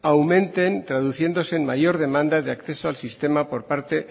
aumenten traduciéndose en mayor demanda de acceso al sistema por parte